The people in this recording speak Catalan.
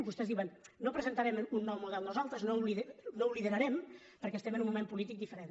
vostès diuen no presentarem un nou model nosaltres no ho liderarem perquè estem en un moment polític diferent